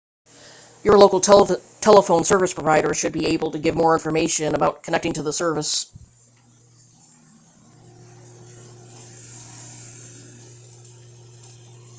your local telephone service provider should be able to give more information about connecting to this service